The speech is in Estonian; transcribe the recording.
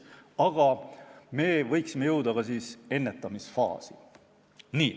Aga me võiksime jõuda ka ennetamisfaasi.